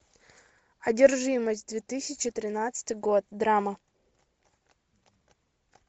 одержимость две тысячи тринадцатый год драма